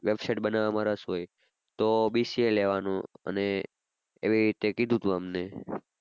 website બનાવમાં રસ હોય તો BCA લેવાનું અને એવી રીતે કીધું તું અમને.